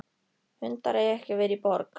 Hundar eiga ekki að vera í borg.